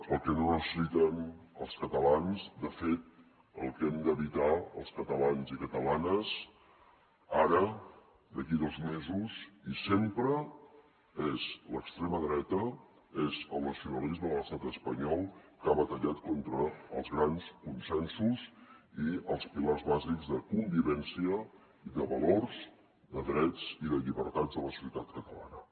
el que no necessiten els catalans de fet el que hem d’evitar els catalans i catalanes ara d’aquí a dos mesos i sempre és l’extrema dreta és el nacionalisme de l’estat espanyol que ha batallat contra els grans consensos i els pilars bàsics de convivència i de valors de drets i de llibertats de la societat catalana